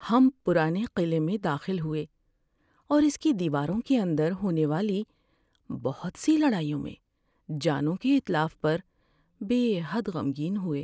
ہم پرانے قلعے میں داخل ہوئے اور اس کی دیواروں کے اندر ہونے والی بہت سی لڑائیوں میں جانوں کے اتلاف پر بے حد غمگین ہوئے۔